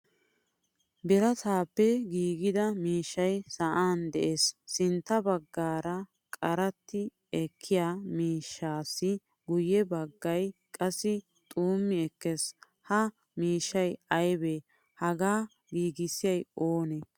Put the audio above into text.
Birattappe giigida miishshay sa'an de'ees. Sintta baggaara qaratti ekkiyaa miishshassi guye baggaay qassi xumi ekkees. Ha miishshay aybesha? Hagaa giigisay oone?